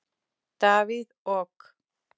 Davíð OK.